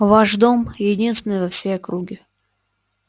ваш дом единственный во всей округе